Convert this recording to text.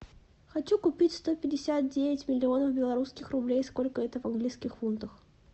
хочу купить сто пятьдесят девять миллионов белорусских рублей сколько это в английских фунтах